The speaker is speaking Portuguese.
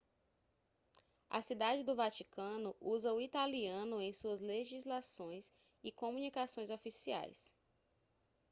a cidade do vaticano usa o italiano em suas legislações e comunicações oficiais